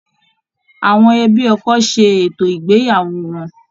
Àwọn ẹbí ọkọ ṣe ètò ìgbéyàwó wọn.